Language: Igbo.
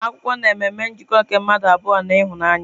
Agbamakwụkwọ na-eme ememe njikọ nke mmadụ abụọ na ịhụnanya.